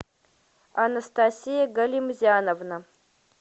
анастасия галимзяновна